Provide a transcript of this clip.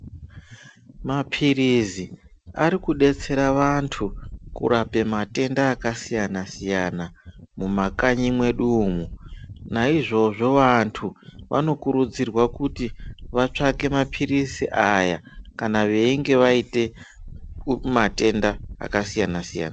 Mapirizi Ari kudetsera vantu kurape matenda akasiyana siyana mumakanyi medu umo naizvozvo vantu vanokurudzirwa kuti vatsavake mapirizi aya kana veinge vaita matenda akasiyana siyana.